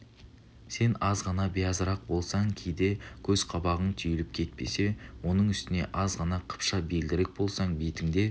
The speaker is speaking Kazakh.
сен аз ғана биязырақ болсаң кейде көз-қабағың түйіліп кетпесе оның үстіне аз ғана қыпша белдірек болсаң бетіңде